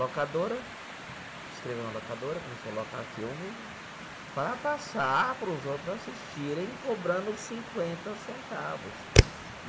Locadora, escreveu na locadora, começou a locar filme para passar para os outros assistirem, cobrando cinquenta centavos.